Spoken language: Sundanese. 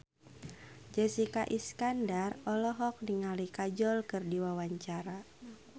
Jessica Iskandar olohok ningali Kajol keur diwawancara